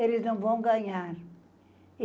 Eles não vão ganhar.